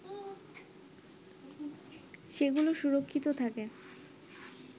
সেগুলো সুরক্ষিত থাকে